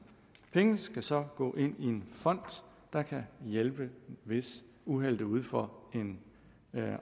pengene skal så gå ind i en fond der kan hjælpe hvis uheldet er ude for en